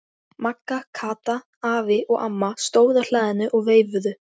Magga, Kata, afi og amma stóðu á hlaðinu og veifuðu.